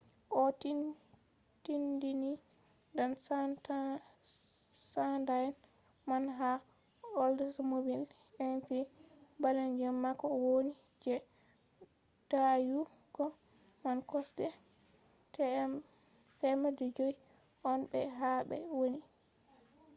o tindini dan sanda'en man ha oldsmobile intrigue balejum mako woni je dayugo man kosɗe 500 on be ha ɓe woni